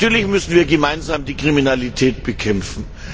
Natürlich müssen wir gemeinsam die Kriminalität bekämpfen.